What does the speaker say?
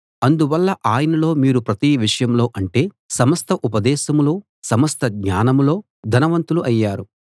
అందువల్ల ఆయనలో మీరు ప్రతి విషయంలో అంటే సమస్త ఉపదేశంలో సమస్త జ్ఞానంలో ధనవంతులు అయ్యారు